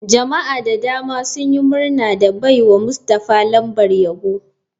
Jama'a da dama sun yi murna da baiwa mustafah lambar yabo.